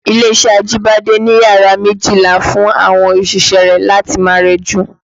Ilé-iṣẹ́ Ajibade ni yàrá méjìlá fún àwọn òṣìṣẹ́ rẹ̀ láti máa rẹjú